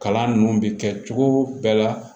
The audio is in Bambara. Kalan ninnu bɛ kɛ cogo bɛɛ la